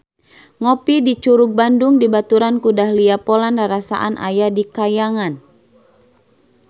Ngopi di Curug Bandung dibaturan ku Dahlia Poland rarasaan aya di kahyangan